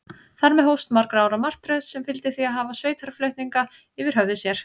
Þar með hófst margra ára martröð, sem fyldi því að hafa sveitarflutninga yfir höfði sér.